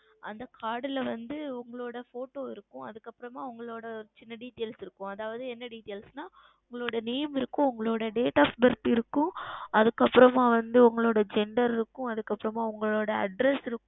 அந்த Card ல வந்து உங்களுடைய Photo இருக்கும் அதற்கு அப்புறமாக வந்து உங்களுடைய உங்களுடைய சிறிய Details இருக்கும் அதாவது என்ன Details என்றால் உங்களுடைய Name இருக்கும் உங்களுடைய Date Of Birth இருக்கும் அதற்கு அப்புறம் வந்து உங்களுடைய Gender இருக்கும் அதற்கு அப்புறமாக உங்களுடைய Address இருக்கும்